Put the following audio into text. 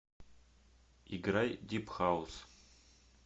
играй дип хаус